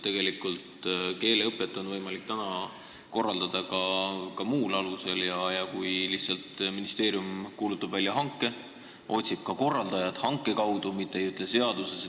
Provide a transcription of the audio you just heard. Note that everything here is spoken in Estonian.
Tegelikult on võimalik keeleõpet korraldada ka muul alusel: ministeerium kuulutab lihtsalt välja hanke ja otsib selle kaudu ka korraldajad, mitte ei öelda seda kõike seaduses.